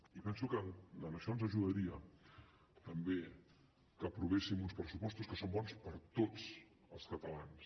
i penso que en això ens ajudaria també que aprovéssim uns pressupostos que són bons per tots els catalans